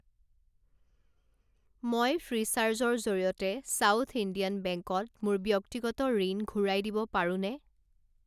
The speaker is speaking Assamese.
মই ফ্ৰীচাৰ্জ ৰ জৰিয়তে সাউথ ইণ্ডিয়ান বেংকত মোৰ ব্যক্তিগত ঋণ ঘূৰাই দিব পাৰোনে?